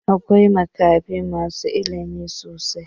Akwai makafi masu ilimi sosai.